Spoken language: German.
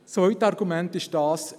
Das zweite Argument ist dieses: